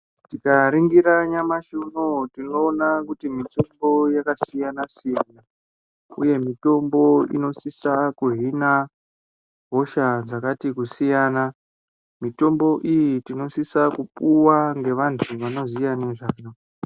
Tikaringira nyamashi unowu tinoona kuti mitombo yakasiyana siyana uye mitombo inosisa kuhina hosha dzakati kusiyana mutombo iyi tinosisa kupuwa ngevantu vanoziya nezvayo..